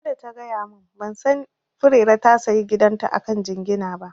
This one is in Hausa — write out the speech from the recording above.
Ai sai da ta gaya mun, ban sani Furera ta sayi gidan ta akan jingina ba